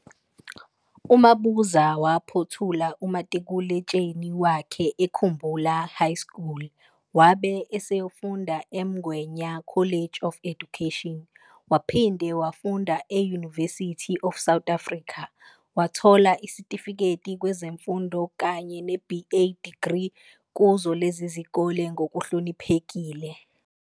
UMabuza waphothula umatikul' etsheni wakhe eKhumbula High School wabe eseyofunda eMgwenya College of Education, waphinde wafunda e-University of South Africa. Wathola isitifiketi kwezemfundo kanye ne-BA degree kuzo lezi izikole ngokuhloniphekile.